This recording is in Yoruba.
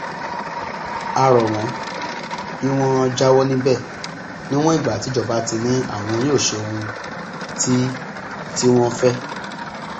a rọ wọn kí wọn jáwọ níbẹ níwọn ìgbà tíjọba ti ní àwọn yóò ṣe ohun tí tí wọn ń fẹ